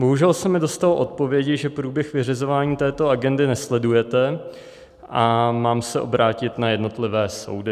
Bohužel se mi dostalo odpovědi, že průběh vyřizování této agendy nesledujete a mám se obrátit na jednotlivé soudy.